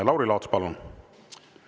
Lauri Laats, palun!